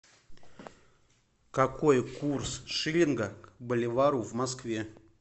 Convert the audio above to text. какой курс шиллинга к боливару в москве